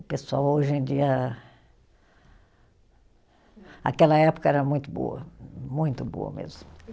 O pessoal hoje em dia. Aquela época era muito boa, muito boa mesmo.